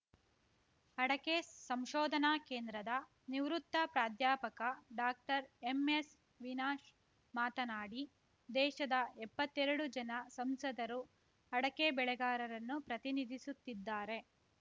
ಅಡಕೆ ಸಂಶೋಧನಾ ಕೇಂದ್ರದ ನಿವೃತ್ತ ಪ್ರಾಧ್ಯಾಪಕ ಡಾಕ್ಟರ್ಎಮ್‌ಎಸ್‌ ವಿನಾಶ್‌ ಮಾತನಾಡಿ ದೇಶದ ಎಪ್ಪತ್ತೆರಡು ಜನ ಸಂಸದರು ಅಡಕೆ ಬೆಳೆಗಾರರನ್ನು ಪ್ರತಿನಿಧಿಸುತ್ತಿದ್ದಾರೆ